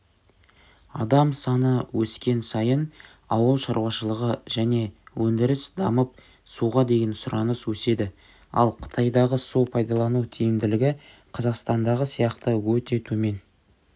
адам саны өскен сайын ауыл шаруышылығы және өндіріс дамып суға деген сұраныс өседі ал қытайдағы су пайдалану тиімділігі қазақстандағы сияқты өте төмен